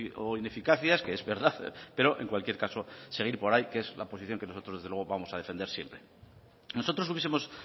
o ineficacias que es verdad pero en cualquier caso seguir por ahí que es la posición que nosotros desde luego vamos a defender siempre nosotros hubiesemos